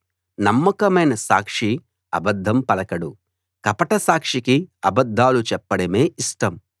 నమ్మకమైన సాక్షి అబద్ధం పలకడు కపట సాక్షికి అబద్ధాలు చెప్పడమే ఇష్టం